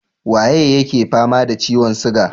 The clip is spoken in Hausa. Waye yake fama da ciyon siga?